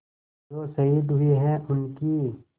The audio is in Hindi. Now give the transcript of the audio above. जो शहीद हुए हैं उनकी